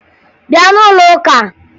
Bịa n'ụlọ ụka!